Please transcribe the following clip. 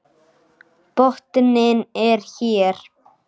Botninn er hér!